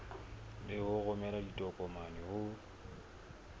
le ho romela ditokomane ho